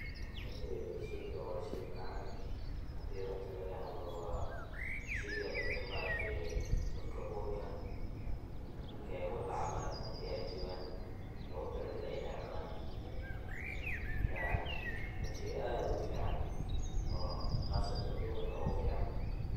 Horte shaygan wa shey macan, xadhi runta lagaxadlo wa sheyga dadk maaragtee dadka urka, markay walaca maaraktee wagtika ay jogan logutalagale inay cunan, marka wa shey adh ufican oqasatan dumarka ogufican.